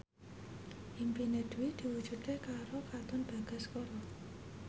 impine Dwi diwujudke karo Katon Bagaskara